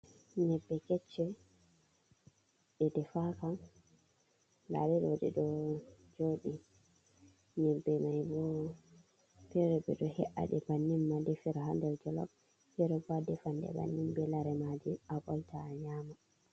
Nyebbe keche, ɗe ɗefaka. Nɗaɗeɗo ɗeɗo joɗi. Nyebbe mai bo, pere be ɗo he’aɗi bannin ma ɗefira ha nɗer jolop. Fere bo aɗefanɗe banni be laremaji abolta a nyama.